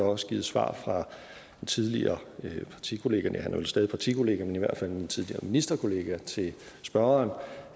også givet svar af tidligere partikollega næh han er vel stadig partikollega men i hvert fald tidligere ministerkollega til spørgeren om